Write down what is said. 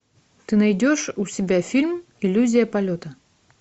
ты найдешь у себя фильм иллюзия полета